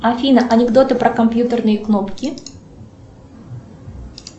афина анекдоты про компьютерные кнопки